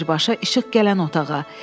Birbaşa işıq gələn otağa.